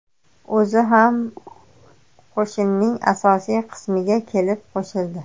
O‘zi ham qo‘shinning asosiy qismiga kelib qo‘shildi.